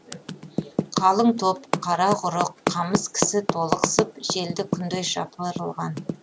қалың топ қара құрық қамыс кісі толықсып желді күндей жапырылған